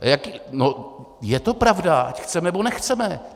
Je to pravda, ať chceme nebo nechceme.